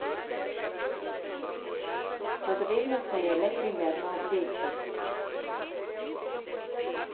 Potrebno se je le primerno obleči.